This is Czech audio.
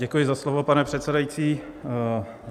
Děkuji za slovo, pane předsedající.